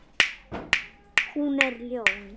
Hún er ljón.